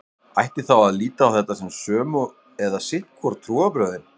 Ætti þá að líta á þetta sem sömu eða sitt hvor trúarbrögðin?